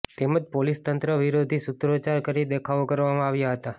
તેમજ પોલીસ તંત્ર વિરોધી સૂત્રોચ્ચાર કરી દેખાવો કરવામાં આવ્યા હતાં